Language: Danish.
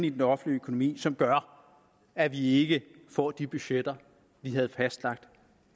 i den offentlige økonomi som gør at vi ikke får de budgetter vi havde fastlagt